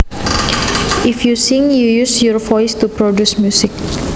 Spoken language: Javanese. If you sing you use your voice to produce music